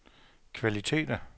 kvaliteter